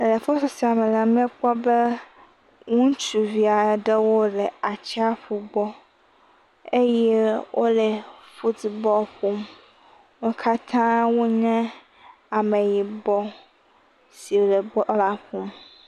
Le foto sia me la, miekpɔ be ŋutsuvia ɖewo le atsia ƒu gbɔ eye wole footbɔl ƒom. Wo kata wonye ame yibɔ si le bɔla ƒom.